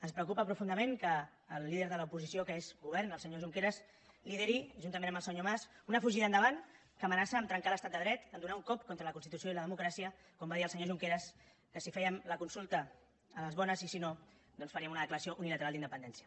ens preocupa profundament que el líder de l’oposició que és govern el senyor junqueras lideri juntament amb el senyor mas una fugida endavant que amenaça a trencar l’estat de dret a donar un cop contra la constitució i la democràcia com va dir el senyor junqueras que si fèiem la consulta a les bones i si no doncs faríem una declaració unilateral d’independència